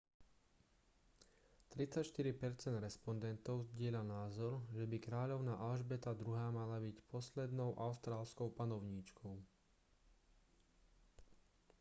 34 percent respondentov zdieľa názor že by kráľovná alžbeta ii mala byť poslednou austrálskou panovníčkou